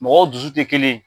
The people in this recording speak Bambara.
Mɔgɔw dusu tɛ kelen ye.